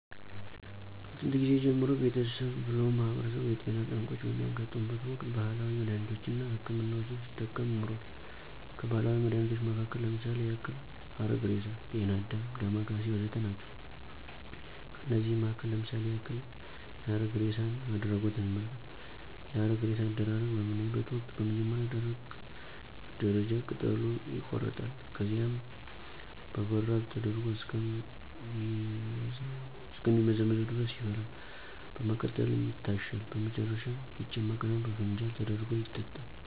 ከጥየንት ጊዜ ጀምሮ ቤተሰብ ብሎም ማህበረሰቡ የጤና ጠንቆች በሚያጋጥሙበት ወቅት ባህላዊ መድሃኒቶች አና ሕክምናዎችን ሲጠቀም ኖሯል። ከባህላዊ መድሃኒቶች መሀከል ለምሳሌ ያክል ሀረግሬሳ፣ ጤናአዳም፣ ዳማከሴ ወዘተ ናቸው። ከነዚህም መሀከል ለምሳሌ ያክል የሀረግሬሳን አድሪጎት እንመልከት፦ የሀረግሬሳ አደራረግ በምናይበተ ወቅት በመጀመሪያ ደረጃ ቅጠሉ ይቆረጣል፣ ከዚያም በበራድ ተደርጎ እስከ ሚመዘምዘው ድረስ ይፈላል፣ በመቀጠልም ይታሻል፣ በመጨረሻም ይጨመቅና በፋንጃል ተደርጎ ይጠጣል።